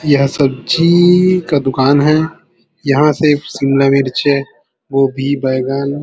यह सब्जी का दुकान है यहाँ सिर्फ शिमला मिर्च है गोभी बैगन--